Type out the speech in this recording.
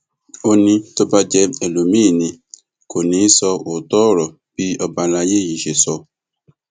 ó ní tó bá jẹ ẹlòmíín ni kò ní í sọ òótọ ọrọ bí ọba àlàyé yìí ṣe sọ